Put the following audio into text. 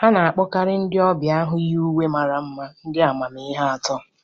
A na-akpọkarị ndị ọbịa ahụ yi uwe mara mma ndị amamihe atọ.